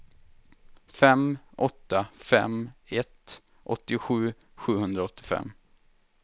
fem åtta fem ett åttiosju sjuhundraåttiofem